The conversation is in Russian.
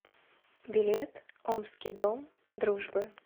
билет омский дом дружбы